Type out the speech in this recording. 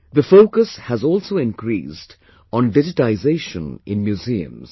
The focus has also increased on digitization in museums